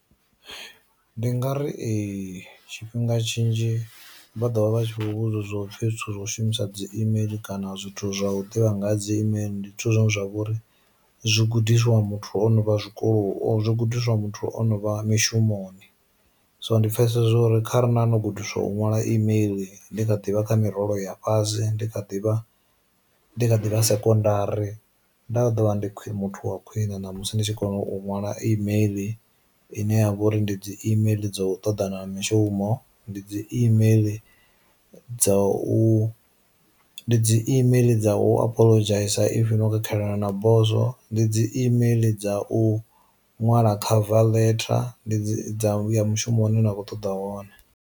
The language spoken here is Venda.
Ndi nga ri ee, tshifhinga tshinzhi vha ḓovha vha tshi khou vhudziwa upfi zwithu zwi no shumisa dzi imeiḽi kana zwithu zwa u ḓivha nga ha dzi imeiḽi ndi zwithu zwine zwa vha uri zwi gudiswa muthu o no vha zwikolo zwi gudiswa muthu o no vha mishumoni. So ndi pfesesa uri kharali nda no gudiswa u ṅwala email ndi kha ḓivha kha mirole ya fhasi ndi kha ḓivha ndi ḓivha sekondari nda vha ḓo vha ndi khwiṋe muthu wa khwiṋe na musi ndi tshi kona u ṅwala email ine ya vha uri ndi dzi imeiḽi dzo u ṱoḓana na mishumo, ndi dzi imeiḽi dza u dzi imeiḽi dza u apholodzhaisa if no khakhelana na boso, ndi dzi imeiḽi dza u ṅwala khava letter, ndi dza u vhuya mushumoni nakho ṱoḓa wone.